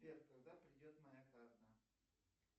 сбер когда придет моя карта